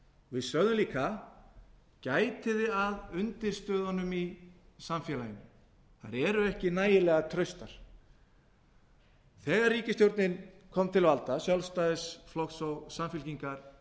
við sögðum líka gætið þið að undirstöðunum í samfélaginu þær eru ekki nægilega traustar þegar ríkisstjórnin kom til valda ríkisstjórn sjálfstæðisflokks og samfylkingar